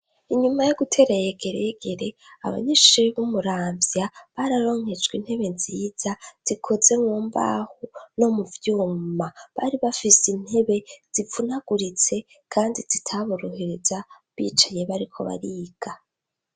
Inyuma yo gutereyegeregere abagishee b'umuravya bararonkejwe intebe nziza zikoze nwo mbaho no mu vyuma bari bafise intebe zipfunaguritse, kandi zitaburohereza bicaye bariko bariga.